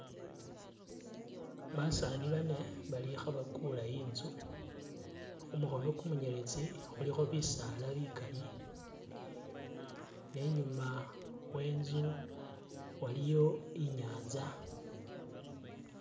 Basaani bane bali khabakula inzu khumukhono kumunyeletsi khulikho bisaala bikaali ne inyuma we inzu waliyo inyanza